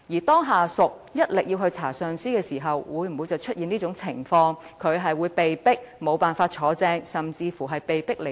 當下屬一意要調查上司時，這會否出現令其被迫無法晉升甚至離任的情況？